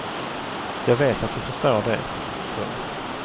Jag vet att du förstår det. punkt